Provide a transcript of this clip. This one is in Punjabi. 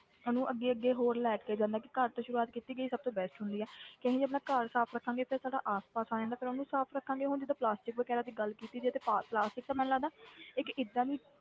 ਇਹਨੂੰ ਅੱਗੇ ਅੱਗੇ ਹੋਰ ਲੈ ਕੇ ਜਾਂਦਾ ਕਿ ਘਰ ਤੋਂ ਸ਼ੁਰੂਆਤ ਕੀਤੀ ਗਈ ਸਭ ਤੋਂ best ਹੁੰਦੀ ਹੈ ਕਿ ਅਸੀਂ ਜੇ ਆਪਣਾ ਘਰ ਸਾਫ਼ ਰੱਖਾਂਗੇ ਫਿਰ ਸਾਡਾ ਆਸਪਾਸ ਆ ਜਾਂਦਾ, ਫਿਰ ਉਹਨੂੰ ਸਾਫ਼ ਰੱਖਾਂਗੇ, ਹੁਣ ਜਿੱਦਾਂ plastic ਵਗ਼ੈਰਾ ਦੀ ਗੱਲ ਕੀਤੀ ਜਾਏ ਤੇ ਪਾ~ plastic ਤੇ ਮੈਨੂੰ ਲੱਗਦਾ ਇੱਕ ਏਦਾਂ ਦੀ,